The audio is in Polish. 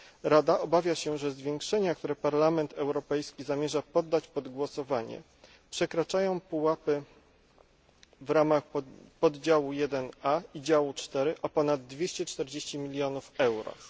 Rada obawia się, że zwiększenia, które Parlament Europejski zamierza poddać pod głosowanie, przekraczają pułapy w ramach poddziału 1a i działu 4 o ponad 240 milionów euro.